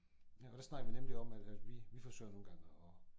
Ja og der snakkede vi nemlig om at at vi vi forsøger nogen gange og